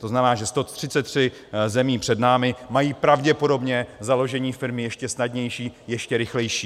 To znamená, že 133 zemí před námi má pravděpodobně založení firmy ještě snadnější, ještě rychlejší.